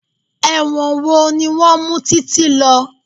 Ẹ̀wọ̀n wo ni wọn mú TíTí lọ?